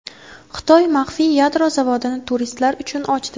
Xitoy maxfiy yadro zavodini turistlar uchun ochdi.